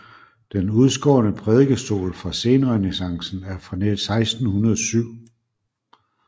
Den udskårne prædikestol fra senrenæssancen er fra 1607